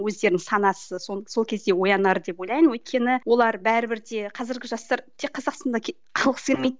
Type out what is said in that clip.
өздерінің санасы сол кезде оянар деп ойлаймын өйткені олар бәрібір де қазіргі жастар қазақстанда қалғысы келмейді